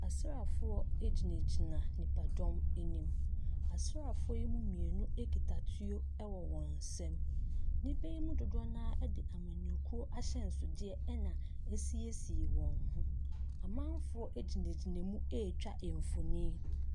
Asrafoɔ egyina gyina ɛdɔm anim. Asrafoɔ yi mmeinu ekita ɛtuo ewɔ wɔn nsam. Nnipa yi no dodow naa ɛde amanyɔsɛm ahyensode ɛna siesie wɔn ho. Amanfoɔ egyina gyina mu etwa mfonin.